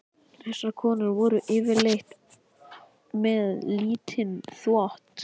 Þessar konur voru yfirleitt með lítinn þvott.